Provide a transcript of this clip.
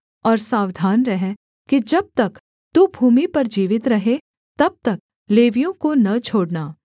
और सावधान रह कि जब तक तू भूमि पर जीवित रहे तब तक लेवियों को न छोड़ना